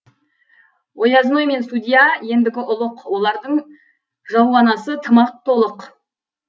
оязной мен судия ендігі ұлық олардың жалуанасы тым ақ толық